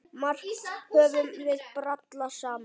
Margt höfum við brallað saman.